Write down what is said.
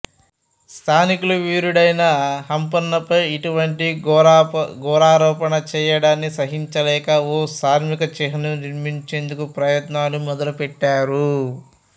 స్థానికులు వీరుడైన హంపన్నపై ఇటువంటి ఘోరారోపణ చేయడాన్ని సహించలేక ఓ స్మారక చిహ్నం నిర్మించేందుకు ప్రయత్నాలు మొదలు పెట్టారు